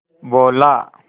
बोला